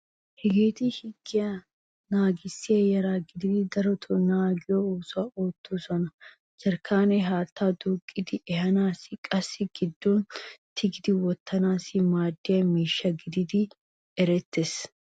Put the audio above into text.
Hageeti higgiya naagissiya yara gididi daroto naagiyo oosuwa oottosona. Jarkkaanee haattaa duuqqidi ehanaassine qassi a giddon tigidi wottanaassi maaddiya miishsha geetettidi erettees.